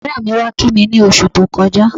Ọ̀rẹ́ mi wá kí mi ní oṣù tó kọjá